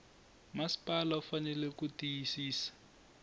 masipala u fanele ku tiyisisa